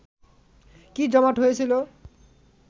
কি জমাট হয়েছিল